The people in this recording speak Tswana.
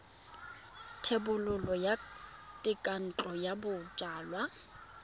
thebolo ya thekontle ya bojalwa